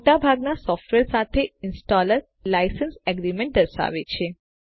મોટા ભાગના સોફ્ટવેર સાથે ઈંસ્ટોલર એક લાઇસેન્સ એગ્રીમેન્ટ દર્શાવે છે